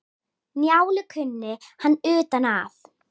Njálu kunni hann utan að.